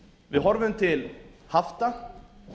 við horfum til hafta